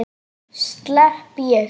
Slepp ég?